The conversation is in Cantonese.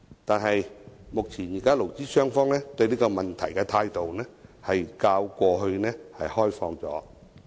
但是，目前勞資雙方對這個問題的態度較過去開放。